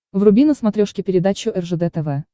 вруби на смотрешке передачу ржд тв